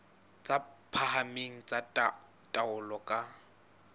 tse phahameng tsa taolo ka